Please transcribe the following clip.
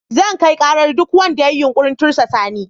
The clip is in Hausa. Zan kai karar duk wanda ya yi yunkurin tursasa ni.